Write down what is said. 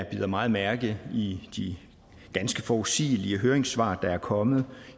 bider meget mærke i de ganske forudsigelige høringssvar der er kommet